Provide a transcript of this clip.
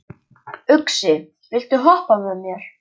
Uxi, viltu hoppa með mér?